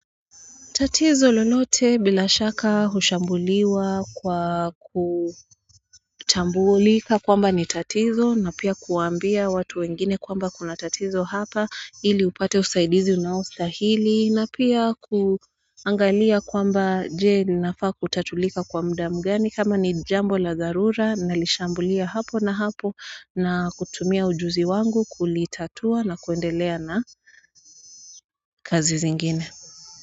Tatizo lolote bila shaka hushambuliwa kwa kutambulika kwamba ni tatizo na pia kuwaambia watu wengine kwamba kuna tatizo hapa ili upate usaidizi unaostahili na pia kuangalia kwamba jee linafaa kutatulika kwa muda mgani kama ni jambo la dharura nalishambulia hapo na hapo na kutumia ujuzi wangu kulitatua na kuendelea na kazi zingine.